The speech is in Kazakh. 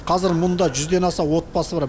қазір мұнда жүзден аса отбасы бар